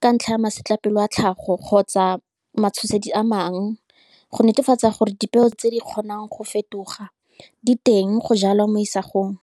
Ka ntlha ya masetlapelo a tlhago, kgotsa matshosedi a mangwe, go netefatsa gore dipeo tse di kgonang go fetoga diteng go jalwa mo.